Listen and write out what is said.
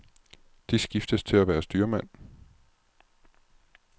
De skiftes til at være styrmand.